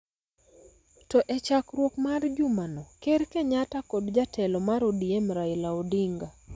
To e chakruok mar juma no, Ker Kenyatta kod jatelo mar ODM Raila Odinga